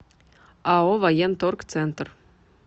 ао военторг центр